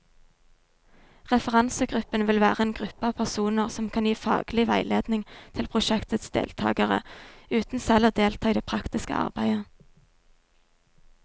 Referansegruppen vil være en gruppe av personer som kan gi faglig veiledning til prosjektets deltagere, uten selv å delta i det praktiske arbeidet.